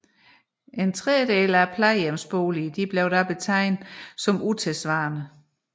En trediedel af plejehjemsboligerne blev da betegnet som utidssvarende